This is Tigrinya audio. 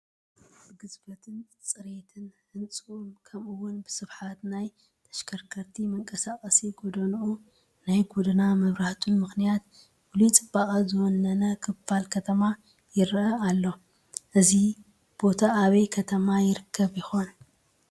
ብግዝፈትን ፅሬትን ህንፅኡ ከምኡውን ብስፍሓት ናይ ተሽከርከርቲ መንቀሳቐሲ ጐደንኡን ናይ ጐደና መብራህቱን ምኽንያት ፍሉይ ፅባቐ ዝወነ ክፋል ከተማ ይርአ ኣሎ፡፡ እዚ ቦታ ኣበይ ከተማ ይርከብ ይኾን?